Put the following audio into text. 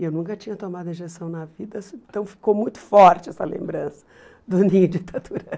E eu nunca tinha tomado injeção na vida, então ficou muito forte essa lembrança do ninho de taturana.